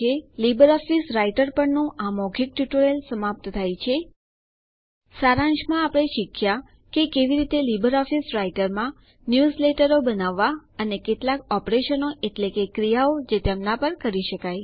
Libre office Writer પર ના આ મૌખિક ટ્યુટોરીયલ સમાપ્ત થાય છે સારાંશમાં આપણે શીખ્યા કે કેવી રીતે લીબર ઓફીસ રાઈટરમાં ન્યુઝલેટરો બનાવવા અને કેટલાક ઓપરેશન એટલે કે ક્રિયાઓ જે તેમના પર કરી શકાય